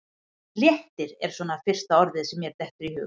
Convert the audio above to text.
Léttir er svona fyrsta orðið sem mér dettur í hug.